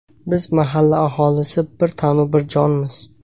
Biz mahalla aholisi bir tanu bir jonmiz.